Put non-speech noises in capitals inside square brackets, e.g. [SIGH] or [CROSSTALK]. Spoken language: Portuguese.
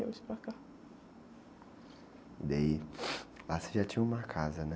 Viemos para cá. daí, [UNINTELLIGIBLE] lá você já tinha uma casa, né?